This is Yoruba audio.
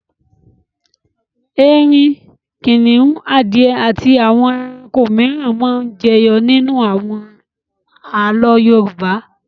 Erin, kìnnìún, adìẹ àti àwọn ẹranko mìíràn máa ń jẹyọ nínú àwọn àlọ́ Yorùbá.